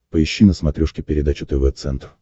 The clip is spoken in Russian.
поищи на смотрешке передачу тв центр